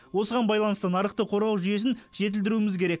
осыған байланысты нарықты қорғау жүйесін жетілдіруіміз керек